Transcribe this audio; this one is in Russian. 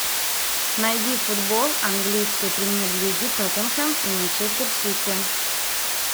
найди футбол английской премьер лиги тоттенхэм и манчестер сити